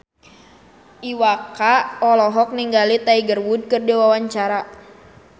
Iwa K olohok ningali Tiger Wood keur diwawancara